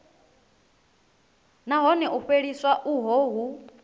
nahone u fheliswa uho hu